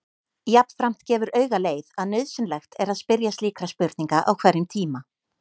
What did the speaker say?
Jafnframt gefur auga leið að nauðsynlegt er að spyrja slíkra spurninga á hverjum tíma.